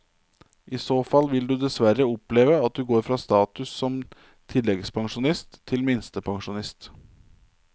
I så fall vil du dessverre oppleve at du går fra status som tilleggspensjonist til minstepensjonist.